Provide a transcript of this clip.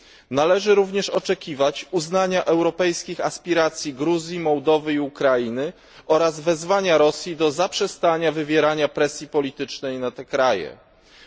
Należy również oczekiwać uznania europejskich aspiracji Gruzji, Mołdawii i Ukrainy oraz wezwania Rosji do zaprzestania wywierania presji politycznej na te państwa.